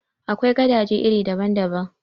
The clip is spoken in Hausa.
Akwai gadaje iri daban daban.